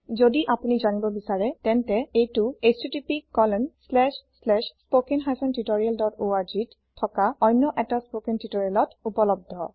যদি আপোনি যানিব বিছাৰে তেন্তে এইটো httpspoken tutorialorg ত থকা অন্য এটা স্পোকেন টিউটৰিয়েলত উপলব্ধ